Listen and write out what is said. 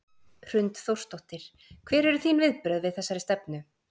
Hrund Þórsdóttir: Hver eru þín viðbrögð við þessari stefnu?